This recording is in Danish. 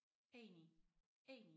Enig enig